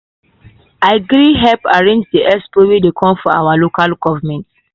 i gree help arrange the expo wey dey come for our local government.